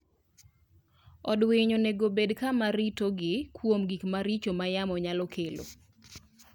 Od winy onego obed kama ritogi kuom gik maricho ma yamo nyalo kelo.